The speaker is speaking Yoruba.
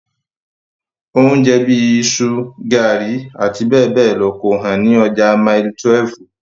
Oúnjẹ bíi iṣu, garri, abbl kò hán ní ọjà mile 12.